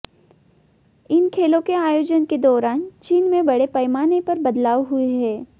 इन खेलों के आयोजन के दौरान चीन में बड़े पैमाने पर बदलाव हुए हैं